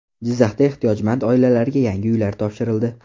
Jizzaxda ehtiyojmand oilalarga yangi uylar topshirildi.